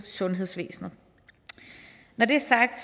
sundhedsvæsenet når det er sagt